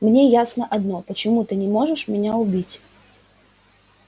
мне ясно одно почему ты не можешь меня убить